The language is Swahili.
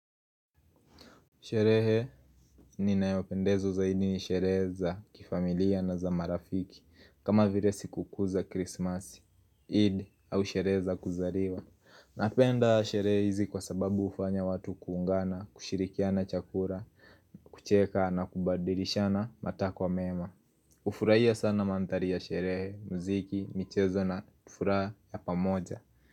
Sherehe ninayopendezwa zaidi ni sherehe za kifamilia na za marafiki. Kama vire sikukuu za Christmas, id au sherehe za kuzariwa napenda sherehe hizi kwa sababu ufanya watu kuungana, kushirikiana chakura, kucheka na kubadilishana matakwa mema. Ufuraia sana manthari ya sherehe, muziki, michezo na furaha ya pamoja.